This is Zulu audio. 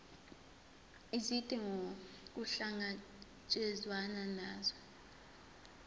izidingo kuhlangatshezwane nazo